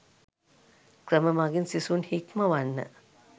ක්‍රම මගින් සිසුන් හික්මවන්න